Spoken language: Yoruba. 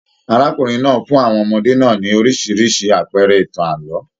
Arákùnrin náà fún àwọn ọmọdé náà ní oríṣiríṣi àpẹẹrẹ ìtàn ààlọ́.